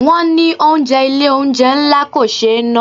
Wọn ní oúnjẹ Ilé-oúnjẹ ńlá kò ṣé na.